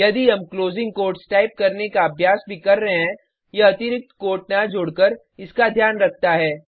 यदि हम closing quotes type करने का अभ्यास भी कर रहे हैं यह अतिरिक्त कोट न जोडकर इसका ध्यान रखता है